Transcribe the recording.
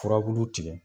Furabulu tigɛ